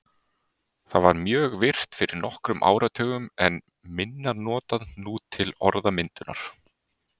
Það var mjög virkt fyrir nokkrum áratugum en er minna notað nú til orðmyndunar.